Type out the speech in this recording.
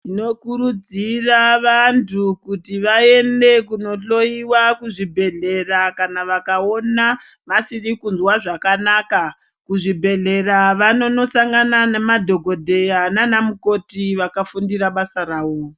Tinokurudzira vantu kuti vaende kundohloyiwa kuzvibhedhlera kana vakaona vasiri kunzwa zvakanaka. Kuzvibhedhlera vanonosangana nemadhokodheya nanamukoti vakafundire basa ravo.